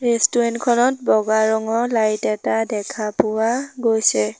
Restaurant খনত বগা ৰঙৰ লাইট এটা দেখা পোৱা গৈছে।